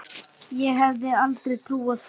Ég hefði aldrei trúað því.